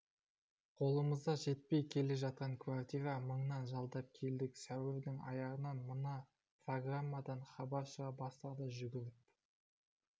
қолымыз жетпей келе жатқан квартира мыңнан жалдап келдік сәуірдің аяғында мына программадан хабар шыға бастады жүгіріп